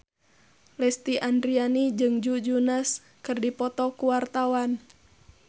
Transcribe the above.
Lesti Andryani jeung Joe Jonas keur dipoto ku wartawan